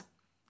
Yaz.